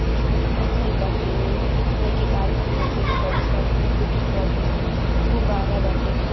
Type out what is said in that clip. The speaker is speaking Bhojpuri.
कुछ-कुछ लिखल बाटे। लईके बार खुलल खुलल बाड़ीसन फोटो खींचवावत तनिसन गुब्बारा बाटे घर --